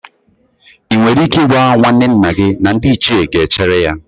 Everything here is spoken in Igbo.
Ị nwere ike ịgwa nwanne nna gị na ndị Ichie ga-echere ya?